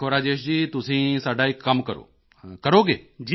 ਦੇਖੋ ਰਾਜੇਸ਼ ਜੀ ਤੁਸੀਂ ਸਾਡਾ ਇੱਕ ਕੰਮ ਕਰੋ ਕਰੋਗੇ